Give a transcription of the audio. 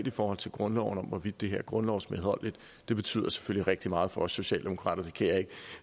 i forhold til grundloven om hvorvidt det her er grundlovsmedholdeligt det betyder selvfølgelig rigtig meget for os socialdemokrater